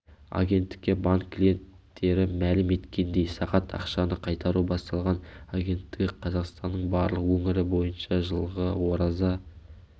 агенттікке банк клиенттері мәлім еткендей сағат ақшаны қайтару басталған агенттігі қазақстанның барлық өңірі бойынша жылғы ораза